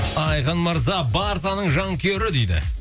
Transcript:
айқын мырза барсаның жанкүйері дейді